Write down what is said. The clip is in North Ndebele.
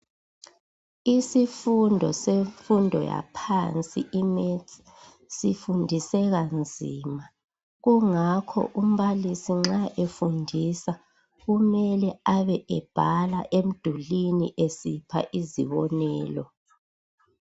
Isifundo semfundo yaphansi imaths sifundiseka nzima kungakho umbalisi nxa efundisa kumele ebe ebhala emdulwini esipha izibonelo.